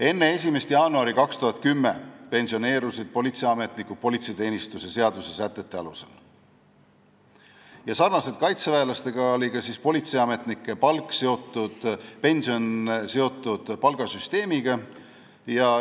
Enne 1. jaanuari 2010 pensioneerusid politseiametnikud politseiteenistuse seaduse sätete alusel ja nagu kaitseväelastel oli ka politseiametnike pension seotud palgasüsteemiga.